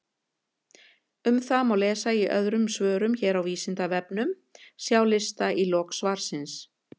Um það má lesa í öðrum svörum hér á Vísindavefnum, sjá lista í lok svarsins.